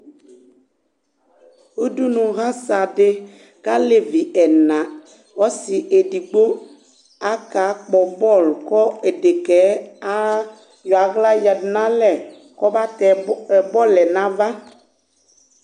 ʋdʋnʋ hasa di kʋ alɛvi ɛna, ɔsii ɛdigbɔ kʋ aka kpɔ ball kʋ ɛdɛkaɛ ayɔ ala yadʋ nʋ alɛ kʋ ɔba tɛ ballʋɛ nʋ aɣa